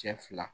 Cɛ fila